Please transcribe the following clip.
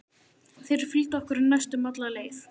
Þeir fylgdu okkur næstum alla leið.